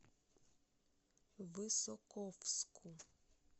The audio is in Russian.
высоковску